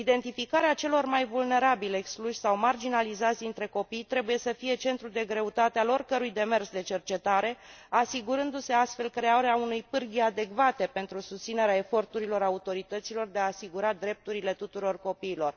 Identificarea celor mai vulnerabili, excluși sau marginalizați dintre copii trebuie să fie centrul de greutate al oricărui demers de cercetare, asigurându se astfel crearea unei pârghii adecvate pentru susținerea eforturilor autorităților de a asigura drepturile tuturor copiilor.